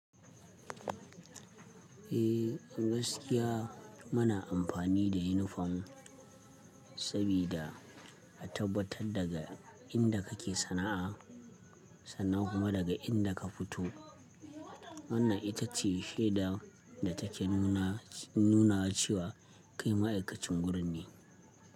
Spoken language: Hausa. Eh a gaskiya muna amfani da yinifom sabida a tabbatar daga inda kake sana'a sannan huma daga inda ka fito. Wannan ita ce shaida da take nuna-nuna cewa kai ma'aikacin gurin ne.